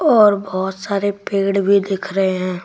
और बहुत सारे पेड़ भी दिख रहे हैं।